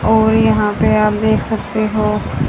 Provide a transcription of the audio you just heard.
और यहां पे आप देख सकते हो--